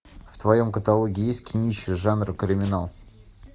в твоем каталоге есть кинище жанра криминал